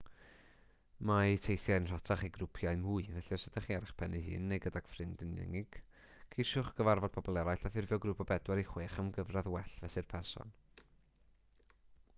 mae teithiau'n rhatach i grwpiau mwy felly os ydych chi ar eich pen eich hun neu gydag un ffrind yn unig ceisiwch gyfarfod pobl eraill a ffurfio grŵp o bedwar i chwech am gyfradd well fesul person